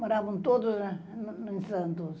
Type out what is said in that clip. Moravam todos em Santos.